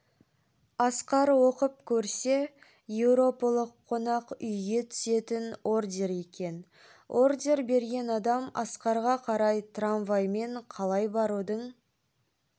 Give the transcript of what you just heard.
асқар оқып көрсе еуропалық қонақ үйге түсетін ордер екен ордер берген адам асқарға қай трамваймен қалай барудың